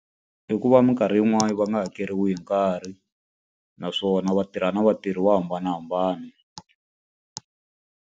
I ku va minkarhi yin'wani va nga hakeriwi hi nkarhi, naswona va tirha na vatirhi vo hambanahambana.